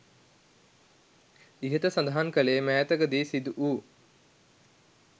ඉහත සඳහන් කළේ මෑතක දී සිදු වූ